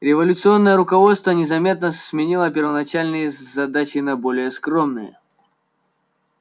революционное руководство незаметно сменило первоначальные задачи на более скромные